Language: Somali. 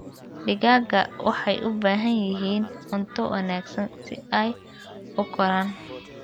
Digaagga waxay u baahan yihiin cunto wanaagsan si ay u koraan.